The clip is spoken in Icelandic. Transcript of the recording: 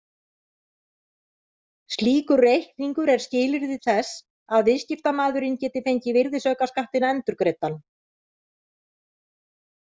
Slíkur reikningur er skilyrði þess að viðskiptamaðurinn geti fengið virðisaukaskattinn endurgreiddan.